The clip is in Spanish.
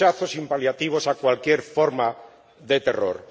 Rechazo sin paliativos a cualquier forma de terror.